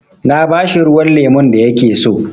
Na ba shi ruwan lemun da ya ke so.